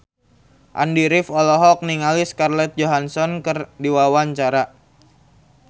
Andy rif olohok ningali Scarlett Johansson keur diwawancara